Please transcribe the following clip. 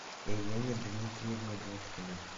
елене дмитриевне дудкиной